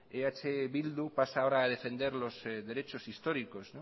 eh bildu pasa ahora a defender los derechos históricos